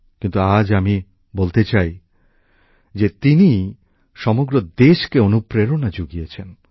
কিন্তু আজ আমি বলতে চাই যে তিনি সমগ্র দেশকে অনুপ্রেরণা যুগিয়েছেন